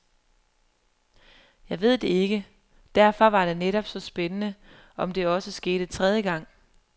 Jeg ved det ikke, derfor var det netop så spændende, om det også skete tredje gang.